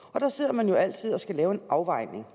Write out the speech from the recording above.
og der sidder man jo altid og skal lave en afvejning